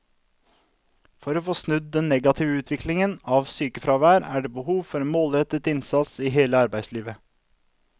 For å få snudd den negative utviklingen av sykefraværet er det behov for en målrettet innsats i hele arbeidslivet.